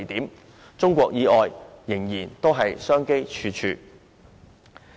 在中國以外，我們仍然商機處處。